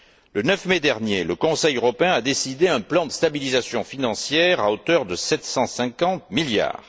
Le 9 mai dernier, le Conseil européen a décidé un plan de stabilisation financière à hauteur de 750 milliards.